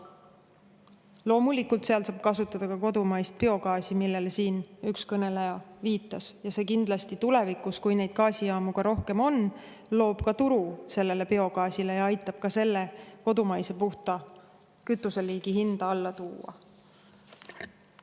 Loomulikult, seal saab kasutada ka kodumaist biogaasi, millele siin üks kõneleja viitas, ja see kindlasti tulevikus, kui neid gaasijaamu rohkem on, loob ka turu biogaasile ja aitab selle kodumaise puhta kütuseliigi hinda alla tuua.